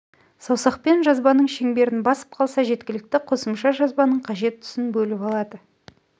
саусақпен жазбаның шеңберін басып қалса жеткілікті қосымша жазбаның қажет тұсын бөліп алады